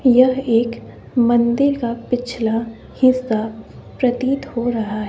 यह एक मंदिर का पिछला हिस्सा प्रतीत हो रहा--